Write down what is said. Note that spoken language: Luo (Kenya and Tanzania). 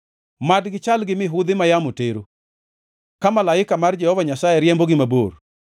Mad gichal gi mihudhi ma yamo tero, ka malaika mar Jehova Nyasaye riembogi mabor;